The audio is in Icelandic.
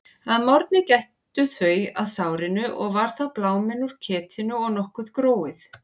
Að morgni gættu þau að sárinu og var þá bláminn úr ketinu og nokkuð gróið.